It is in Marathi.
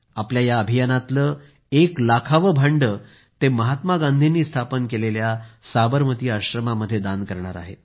आपल्या या अभियानातलं एक लाखावं भांडं ते महात्मा गांधींनी स्थापन केलेल्या साबरमती आश्रमात दान करणार आहेत